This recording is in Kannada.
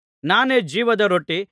ನಾನೇ ಜೀವದ ರೊಟ್ಟಿ